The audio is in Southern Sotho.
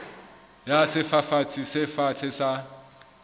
ya sefafatsi se fatshe sa